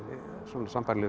sambærilegur